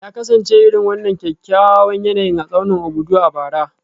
Ya kasance irin wannan kyakkyawan yanayin a tsaunin Obudu a bara